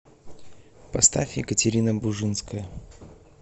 поставь екатерина бужинская